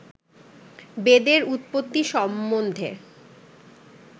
বেদের উৎপত্তি সম্বন্ধে